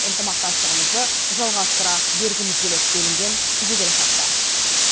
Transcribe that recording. ынтымақтастығымызды жалғастыра бергіміз келеді делінген жеделхатта